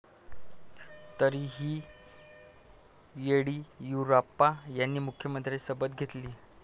तरीही येडियुराप्पा यांनी मुख्यमंत्रिपदाची शपथ घेतली.